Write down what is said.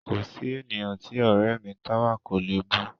Kò sí ènìyàn tí ọ̀rẹ́ ẹ mi Táwà kò le bú